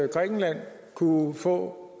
grækenland kunne få